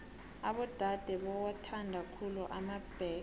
abodade bowathanda khulu emabhege